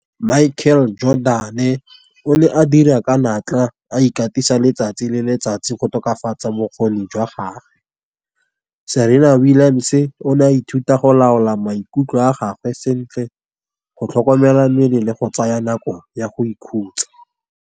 Michael Jordan e o ne a dira ka natla a ikatisa letsatsi le letsatsi, go tokafatsa bokgoni jwa gage. Serena Williams o ne a ithuta go laola maikutlo a gagwe sentle, go tlhokomela mebele go tsaya nako ya go ikhutsa.